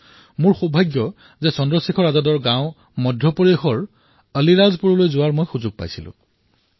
এয়া মোৰ সৌভাগ্য যে মধ্যপ্ৰদেশত মই আজাদৰ গাঁও আলীৰাজপুৰলৈ যোৱাৰ সুযোগ পাইছোঁ